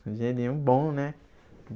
Dinheirinho bom, né?